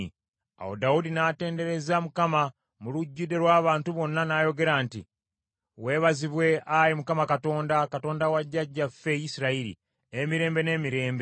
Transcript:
Awo Dawudi n’atendereza Mukama mu lujjudde lw’abantu bonna, n’ayogera nti, “Weebazibwe, Ayi Mukama Katonda, Katonda wa jjajjaffe Isirayiri, emirembe n’emirembe.